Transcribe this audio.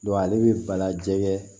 ale bɛ bala jɛgɛ